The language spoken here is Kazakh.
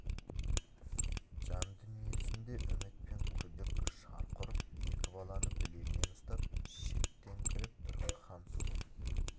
жан дүниесінде үміт пен күдік шарқ ұрып екі баланы білегінен ұстап шеттеңкіреп тұр хансұлу